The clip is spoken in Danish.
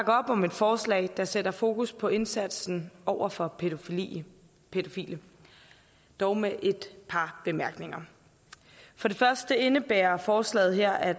op om et forslag der sætter fokus på indsatsen over for pædofile pædofile dog med et par bemærkninger for det første indebærer forslaget her at